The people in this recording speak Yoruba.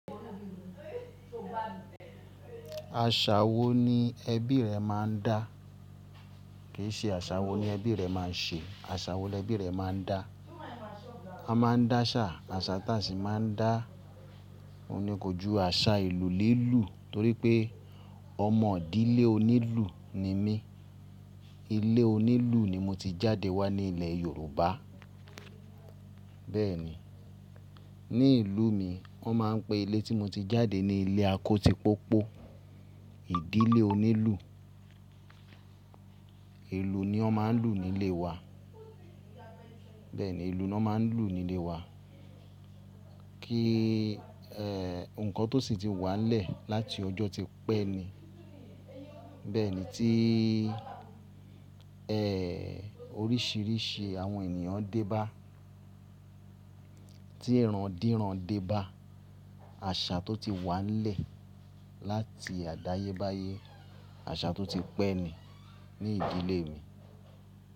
Àṣà wo ni ẹbí rẹ máa ń dá? Kì í ṣe àṣà wo ni ẹbí rẹ máa ń ṣe, àṣà wo lẹbí rẹ máa ń dá. A máa ń dá àṣà, àṣà ta sì máa ń dá-- ohun ní kójú àṣà ìlú lílù torí pé ọmọ ìdílé onílù ni mí. Ilé onílù ni mo ti jáde wá ní ilẹ̀ Yorùbá. Bẹ́ẹ̀ ni, ní ìlú mi wọ́n máa ń pe ilé tí mo ti jáde ní ilé akóti pópó. Ìdílé onílù. Ìlù ni wọ́n máa ń lù nílé wa. Bẹ́ẹ̀ ni, ìlù ni wọ́n máa ń lù nílé wa. Kí, ẹ́, nǹkan tó sì ti wà nílẹ̀ láti ọjọ́ tí pẹ́ ni. Bẹ́ẹ̀ ni tí, ẹ́, oríṣiríṣi àwọn ènìyàn débá, tí iran dírán débá, àṣà tó ti wà nílẹ̀ láti àdáyébáyé, àṣà tó ti pẹ́ ni ní ìdílé mi.